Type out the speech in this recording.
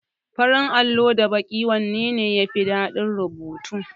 Farin allo da baƙin allo wanne ne yafi dadin rubutu?